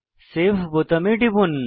save বোতামে টিপুন